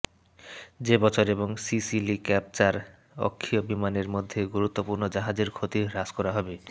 যে বছর এবং সিসিলি ক্যাপচার অক্ষীয় বিমানের মধ্যে বন্ধুত্বপূর্ণ জাহাজের ক্ষতি হ্রাস করা হবে